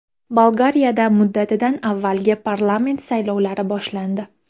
Bolgariyada muddatidan avvalgi parlament saylovlari boshlandi.